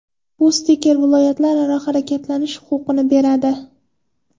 Bu stiker viloyatlararo harakatlanish huquqini beradi.